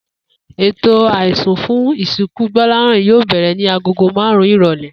Ètò àisùn fún ìsìnkú Gbó̩láhàn yóò bè̩rè̩ ni aago márùn-ún ìrò̩lé̩